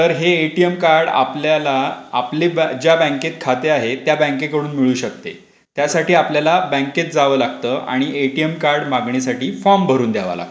तर हे ATM card आपल्याला आपल ज्या बँकेत खाते आहे. ते त्या बँकेकडून मिळू शकते. त्यासाठी आपल्याला बँकेत जावं लागतं आणि एटीएम कार्ड मागण्यासाठी फॉर्म भरावा लागतो.